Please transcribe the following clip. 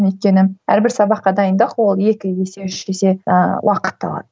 өйткені әрбір сабаққа дайындық ол екі есе үш есе ыыы уақытты алады